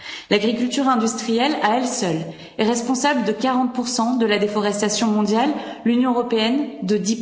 L'agriculture industrielle à elle seule est responsable de 40 de la déforestation mondiale, l'Union européenne, de